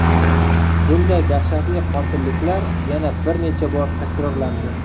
Bunday dahshatli qotilliklar yana bir necha bor takrorlandi.